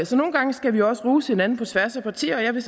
så nogle gange skal vi også rose hinanden på tværs af partier og jeg vil